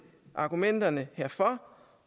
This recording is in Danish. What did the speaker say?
argumenterne herfor